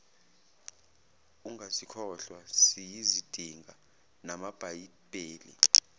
ungasikhohlwa siyazidinga namabhayibheli